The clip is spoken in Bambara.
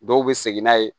Dɔw bɛ segin n'a ye